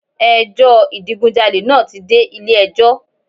Ẹ jọ́ ìdigunjalè naa ti de Ilé ẹjọ́